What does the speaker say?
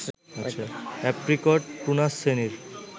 apricot prunus শ্রেণীর